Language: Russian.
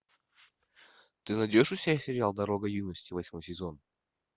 ты найдешь у себя сериал дорога юности восьмой сезон